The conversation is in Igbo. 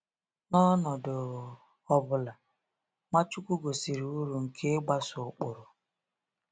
N’ọnọdụ ọ bụla, Nwachukwu gosiri uru nke ịgbaso ụkpụrụ.